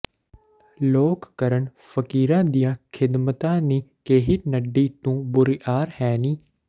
ਲੋਕ ਕਰਨ ਫ਼ਕੀਰਾਂ ਦੀਆਂ ਖ਼ਿਦਮਤਾਂ ਨੀ ਕੇਹੀ ਨੱਢੀ ਤੂੰ ਬੁਰਿਆਰ ਹੈਂ ਨੀ